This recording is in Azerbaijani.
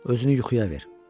Özünü yuxuya ver.